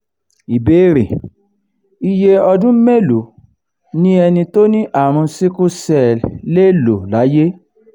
ìbéèrè: iye odun melo ni eni tó ní àrùn sickle cell le lo laye?